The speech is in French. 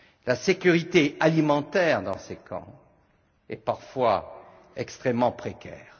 La sécurité alimentaire dans ces camps est parfois extrêmement précaire.